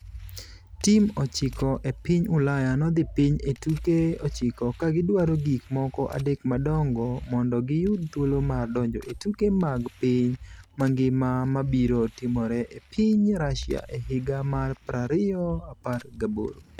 Tim 9 e piny Ulaya nodhi piny e tuke 9 ka gidwaro gik moko adek madongo mondo giyud thuolo mar donjo e tuke mag piny mangima ma biro timore e piny Russia e higa mar 2018 .